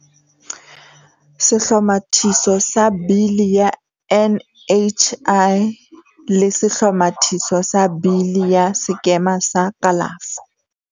Sehlo mathiso sa Bili ya NHI le Se hlomathiso sa Bili ya Sekema sa Kalafo.